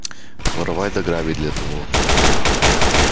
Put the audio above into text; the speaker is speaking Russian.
воровать да грабить для того